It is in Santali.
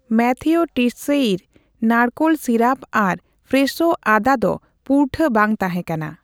ᱢᱟᱛᱷᱤᱣ ᱴᱤᱥᱥᱮᱤᱨ ᱱᱟᱲᱠᱳᱞ ᱥᱤᱨᱟᱯ ᱟᱨ ᱯᱷᱨᱮᱥᱷᱳ ᱟᱫᱟ ᱰᱚ ᱯᱩᱨᱴᱷᱟᱹ ᱵᱟᱝ ᱛᱟᱦᱮᱸᱠᱟᱱᱟ ᱾